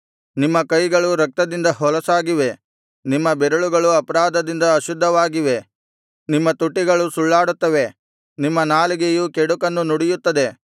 ನಿಮ್ಮ ಕೈಗಳು ರಕ್ತದಿಂದ ಹೊಲಸಾಗಿವೆ ನಿಮ್ಮ ಬೆರಳುಗಳು ಅಪರಾಧದಿಂದ ಅಶುದ್ಧವಾಗಿವೆ ನಿಮ್ಮ ತುಟಿಗಳು ಸುಳ್ಳಾಡುತ್ತವೆ ನಿಮ್ಮ ನಾಲಿಗೆಯು ಕೆಡುಕನ್ನು ನುಡಿಯುತ್ತದೆ